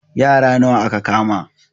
Yara nawa aka kama?